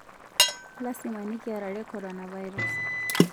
Lasima nikiarare coronavirus